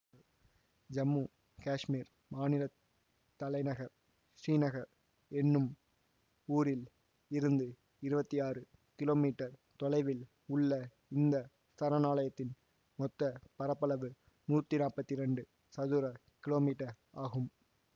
ஜம்மு காஷ்மீர் மாநில தலைநகர் ஸ்ரீநகர் எனும் ஊரில் இருந்து இருவத்தி ஆறு கிலோமீட்டர் தொலைவில் உள்ள இந்த சரணாலயத்தின் மொத்த பரப்பளவு நூத்தி நாப்பத்தி இரண்டு சதுர கிலோமீட்டர் ஆகும்